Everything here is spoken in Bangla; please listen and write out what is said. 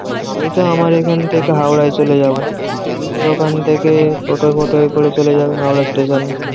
আমিতো আমার এখন থেকে হাওড়ায় চলে যাবো। তুমি ওখান থেকে টোটো ফোটোয়ে করে চলে যাবে হাওড়া স্টেশনে।